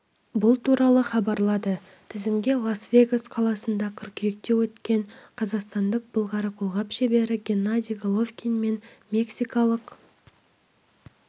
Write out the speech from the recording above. бұл туралы хабарлады тізімге лас-вегас қаласында қыркүйекте өткен қазақстандық былғары қолғап шебері геннадий головкин мен мексикалық